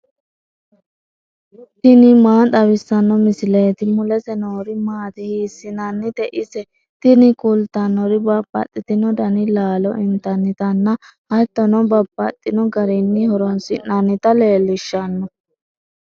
tini maa xawissanno misileeti ? mulese noori maati ? hiissinannite ise ? tini kultannori babbaxxitino dani laalo intannitanna hattono babbaxxino garinni horoonsi'nannita leellishshanno.